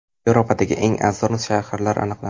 Yevropadagi eng arzon shaharlar aniqlandi.